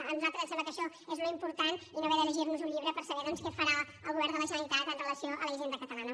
a nosaltres ens sembla que això és l’important i no haver de llegir nos un llibre per saber doncs què farà el govern de la generalitat amb relació a la hisenda catalana